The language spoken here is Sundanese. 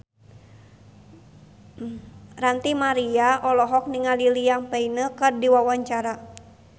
Ranty Maria olohok ningali Liam Payne keur diwawancara